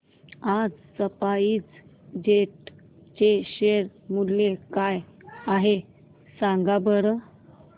आज SpiceJet चे share मूल्य काय आहे सांगा बरं